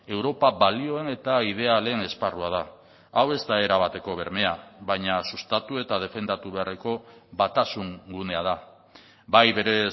europa balioen eta idealen esparrua da hau ez da erabateko bermea baina sustatu eta defendatu beharreko batasun gunea da bai bere